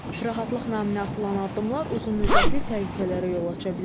Rahatlıq naminə atılan addımlar uzunmüddətli təhlükələrə yol aça bilər.